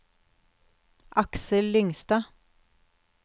Aksel Lyngstad